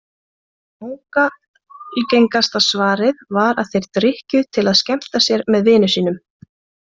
Langalgengasta svarið var að þeir drykkju til að skemmta sér með vinum sínum.